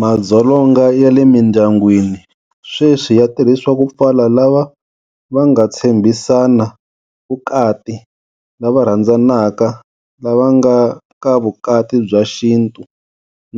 Madzolonga ya le mindyangwini sweswi ya tirhisiwa ku pfala lava va nga tshembhisana vukati, lava rhandzanaka, lava nga ka vukati bya xintu,